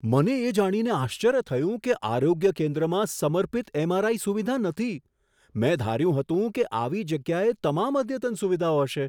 મને એ જાણીને આશ્ચર્ય થયું કે આરોગ્ય કેન્દ્રમાં સમર્પિત એમ.આર.આઈ. સુવિધા નથી. મેં ધાર્યું હતું કે આવી જગ્યાએ તમામ અદ્યતન સુવિધાઓ હશે.